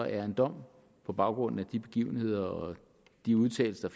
er en dom på baggrund af de begivenheder og de udtalelser